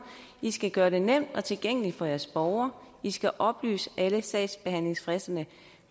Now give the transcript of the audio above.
i skal gøre det nemt og tilgængeligt for jeres borgere i skal oplyse alle sagsbehandlingsfristerne